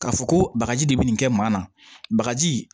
Ka fɔ ko bagaji de bɛ nin kɛ maa na bagaji